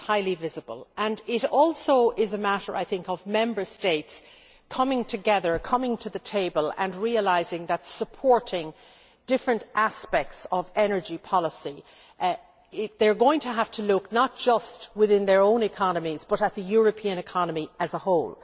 It is highly visible, and it also is a matter of Member States coming together, coming to the table and realising that in supporting different aspects of energy policy they are going to have to look not just within their own economies, but at the European economy as a whole.